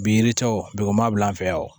Bi yiricɛw bugun ma bila an fɛ yan wo